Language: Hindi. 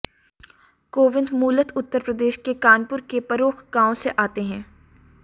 कोविंद मूलत उत्तर प्रदेश के कानपुर के परौख गांव से आते हैं